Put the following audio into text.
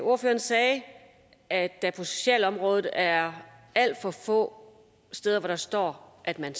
ordføreren sagde at der på socialområdet er alt for få steder hvor der står at man